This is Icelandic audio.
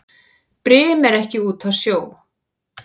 Brim er ekki úti á sjó.